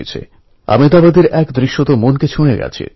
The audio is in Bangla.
সত্যমের মত লক্ষ লক্ষ যুবক স্কুল থেকে বেরিয়ে কলেজে যায়